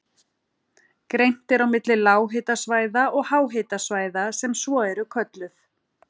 Greint er á milli lághitasvæða og háhitasvæða sem svo eru kölluð.